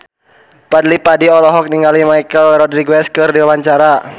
Fadly Padi olohok ningali Michelle Rodriguez keur diwawancara